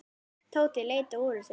Tóti leit á úrið sitt.